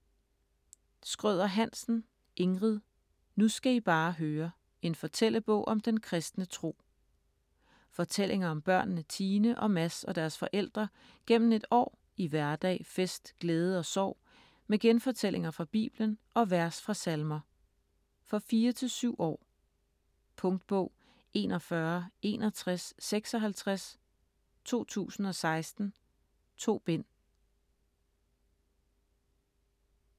Schrøder-Hansen, Ingrid: Nu skal I bare høre: en fortællebog om den kristne tro Fortællinger om børnene Tine og Mads og deres forældre gennem et år i hverdag, fest, glæde og sorg, med genfortællinger fra Bibelen og vers fra salmer. For 4-7 år. Punktbog 416156 2016. 2 bind.